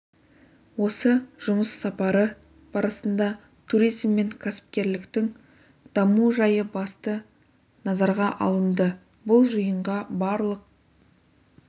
осы жұмыс сапары барысында туризм мен кәсіпкерліктің даму жайы басты назарға алынды бұл жиынға барлық